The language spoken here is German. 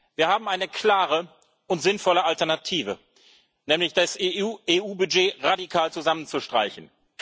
Wir haben eine klare und sinnvolle Alternative, nämlich das EU Budget radikal zusammenzustreichen.